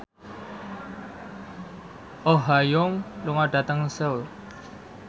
Oh Ha Young lunga dhateng Seoul